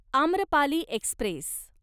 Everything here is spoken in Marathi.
आम्रपाली एक्स्प्रेस